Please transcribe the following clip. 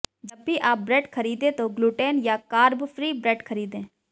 जब भी आप ब्रेड खरीदें तो ग्लूटेन या कार्ब फ्री ब्रेड खरीदें